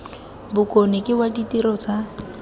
bokone ke wa ditiro tsa